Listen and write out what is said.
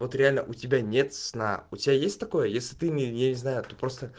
вот реально у тебя нет сна у тебя есть такое если ты мне я не знаю ты просто